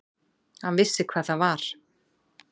Hann vissi hvað það var.